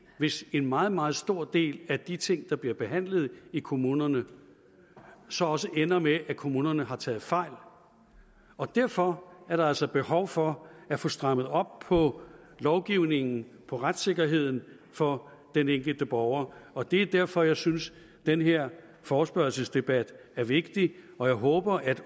hvis en meget meget stor del af de ting der bliver behandlet i kommunerne så også ender med at kommunerne har taget fejl og derfor er der altså behov for at få strammet op på lovgivningen på retssikkerheden for den enkelte borger og det er derfor jeg synes den her forespørgselsdebat er vigtig og jeg håber at